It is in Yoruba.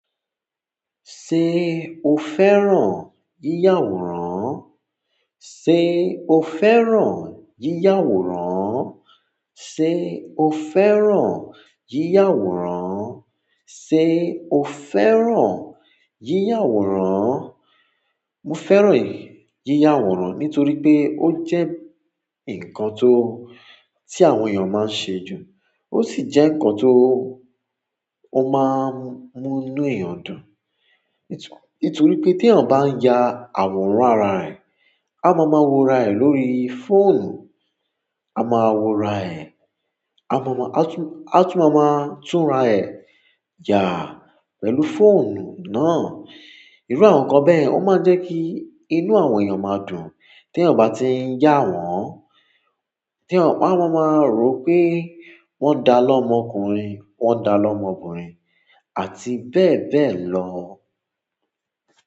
Ṣé o fẹ́ràn yíya àwòrán? Sé o fẹ́ràn yíya àwòrán? Sé o fẹ́ràn yíya àwòrán? Sé o fẹ́ràn yíya àwòrán? Mo fẹ́ràn yíya àwòrán nítorí pé ó jẹ́ ǹkan tó tí àwọn èèyàn máa ń ṣe jù. Ó sì jẹ́ ǹkan tó ó máa ń mú inú èèyàn dùn. Ètò, ètò rí pé tí èèyàn bá ń ya àwòrán ara ẹ̀, a máa ma wo ara ẹ̀ lórí fóònù, a máa wo ara ẹ̀, a máa, a tún, a tún máa tún ara ẹ̀ yà pẹ̀lú fóònù náà. Irú àwọn nǹkan bẹ́ẹ̀ ó máa ń jẹ́ kí inú àwọn èèyàn máa dùn. Tí èèyàn ò bá ti ń yà àwòrán, tí wọ́n ò bá, wọ́n máa rò pé wọ́n dà lọ́mọkùnrin, wọ́n dà lọ́mọbìnrin àti bẹ́ẹ̀ bẹ́ẹ̀ lọ.